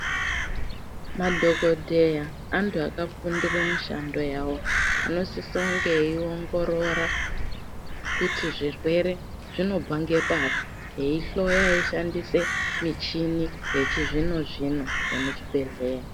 Madhokodheya antu akafundira mishando yawo, anosise kunge eiongorora kuti zvirwere zvinobva ngepari, eihloya eishandise michini yechizvino-zvino yemuchibhedhleya.